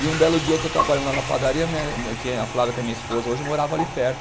E um belo dia eu estou trabalhando lá na padaria, minha a Flávia, que é minha esposa hoje, morava ali perto.